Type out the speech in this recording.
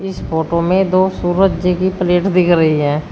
इस फोटो में दो सूरज जी की प्लेट दिख रही है।